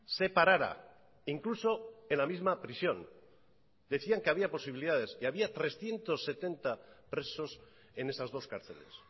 separara incluso en la misma prisión decían que había posibilidades que había trescientos setenta presos en esas dos cárceles